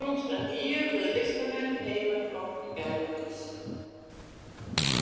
Samvinna tókst að nýju við listamenn heima og erlendis.